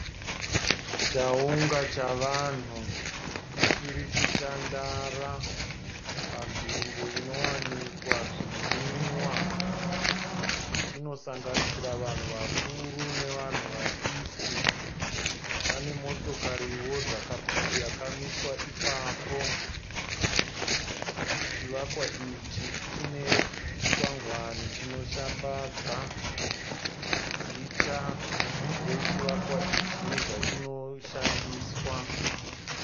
Chaunga chavanhu chirikutandara panzvimbo inowanikwa zvinwiwa. Pane motokari dzakamiswa ipapo chivakwa ichi chinoratidza zita rechivakwa ichi nezvachinoshandiswa.